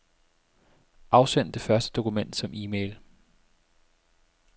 Afsend det første dokument som e-mail.